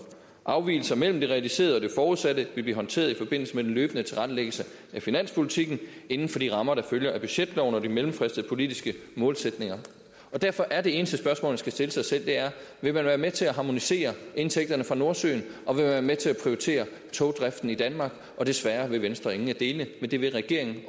afvigelser mellem det realiserede og det forudsatte vil blive håndteret i forbindelse med den løbende tilrettelæggelse af finanspolitikken inden for de rammer der følger af budgetloven og de mellemfristede politiske målsætninger derfor er de eneste spørgsmål man skal stille sig selv vil man være med til at harmonisere indtægterne fra nordsøen og være med til at prioritere togdriften i danmark desværre vil venstre ingen af delene men det vil regeringen